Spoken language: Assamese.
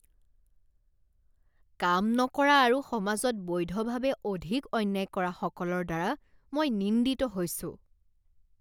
কাম নকৰা আৰু সমাজত বৈধভাৱে অধিক অন্যায় কৰাসকলৰ দ্বাৰা মই নিন্দিত হৈছোঁ।